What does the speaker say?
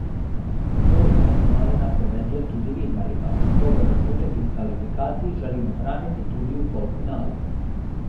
Boj za finale napoveduje tudi Vidmarjeva: "Dober občutek iz kvalifikacij želim ohraniti tudi v polfinalu.